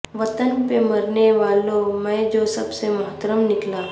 وطن پہ مرنے والوں میں جو سب سے محترم نکلا